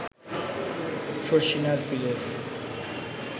শর্ষিনার পীরের